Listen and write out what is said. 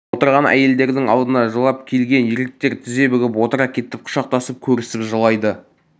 отырған әйелдердің алдына жылап келген еркектер тізе бүгіп отыра кетіп құшақтасып көрісіп жылайды